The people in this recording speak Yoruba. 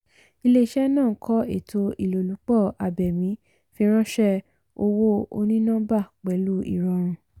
ilé-iṣẹ́ náà ń kọ ètò ilolupo abémi fìránṣẹ́ owó òní-nọ́mbà pẹ̀lú ìrọrùn.